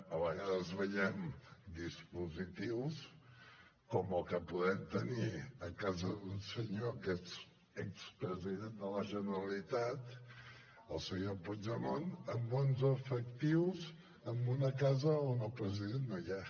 a vegades veiem dispositius com el que podem tenir a casa d’un senyor que és expresident de la generalitat el senyor puigdemont amb onze efectius en una casa on el president no hi és